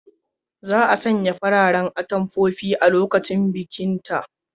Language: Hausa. Za a sanya fararen atamfofi a lokacin bikinta.